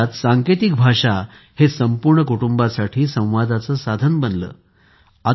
अशात सांकेतिक भाषा हे या संपूर्ण कुटुंबासाठी संवादाचे साधन बनले आहे